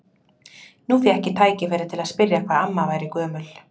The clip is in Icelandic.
Nú fékk ég tækifæri til að spyrja hvað amma væri gömul.